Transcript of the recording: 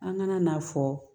An kana n'a fɔ